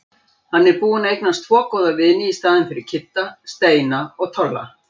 Hann er búinn að eignast tvo góða vini í staðinn fyrir Kidda- Steina og Tolla.